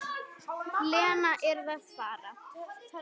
Lena yrði að fara.